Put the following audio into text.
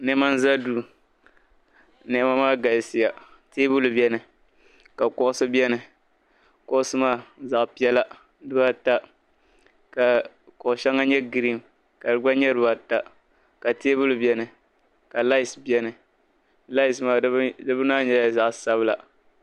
niɛma n-za duu niɛma maa galisiya teebuli beni ka kuɣisi beni kuɣisi maa zaɣ'piɛla dibaa ata ka kuɣ'shɛŋa nyɛ griin ka di gba nyɛ dibaa ata ka teebuli beni ka laayisi beni laayisi maa di bini maa nyɛla zaɣ'sabila